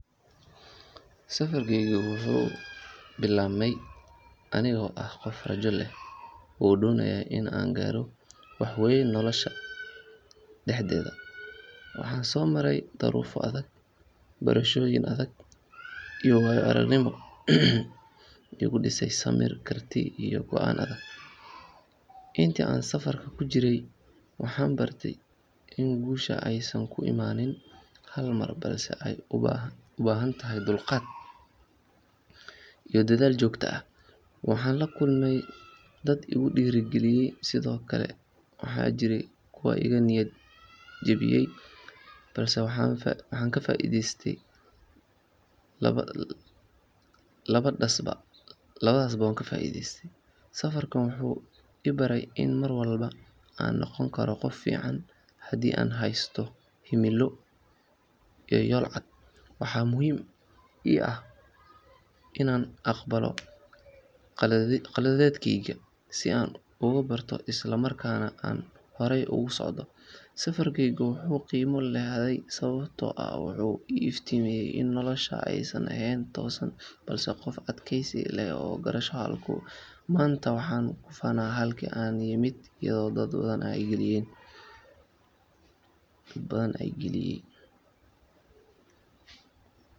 Safarkaygu wuxuu bilaabmay anigoo ah qof rajo leh oo doonaya in uu gaaro wax weyn nolosha dhexdeeda. Waxaan soo maray duruufo adag, barashooyin adag iyo waayo-aragnimooyin igu dhisay samir, karti iyo go’aan adag. Intii aan safarka ku jiray waxaan bartay in guushu aysan ku imaanin hal mar balse ay u baahan tahay dulqaad iyo dadaal joogto ah. Waxaan la kulmay dad igu dhiirrigeliyay, sidoo kalena waxaa jiray kuwa iga niyad jebiyay balse waxaan ka faa’iidaystay labadaasba. Safarkan wuxuu i baray in mar walba aan noqon karo qof fiican haddii aan haysto himilo iyo yool cad. Waxaa muhiim ii ahayd inaan aqbalo qaladaadkayga si aan uga barto isla markaana aan horay ugu socdo. Safarkaygu wuxuu qiimo leeyahay sababtoo ah wuxuu iftiimiyay in nolosha aysan aheyn toosan, balse qofka adkaysiga leh uu gaaro halka uu hiigsanayo. Maanta waxaan ku faanaa halkii aan ka yimid iyo dadaalka aan geliyay.